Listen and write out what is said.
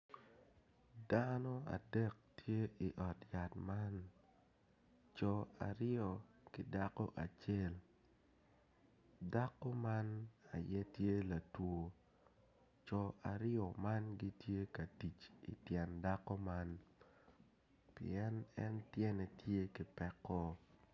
Dano adek tye i ot yat man co aryo ki dako acel dako man tye latwo jo me ot yat man gitye ka tic i tyen dako man pien en tye ki peko.